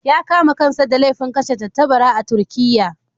Ya kama kansa da laifin kashe tattabara a Turkiyya.